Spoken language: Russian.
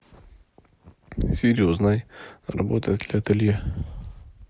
сири узнай работает ли ателье